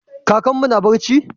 Kakanmu na barci?